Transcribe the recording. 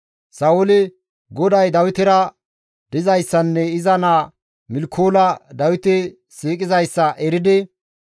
Sa7ooli GODAY Dawitera dizayssanne iza naa Milkoola Dawite siiqidayssa eridi,